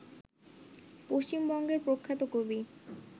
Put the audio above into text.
পশ্চিমবঙ্গের প্রখ্যাত কবি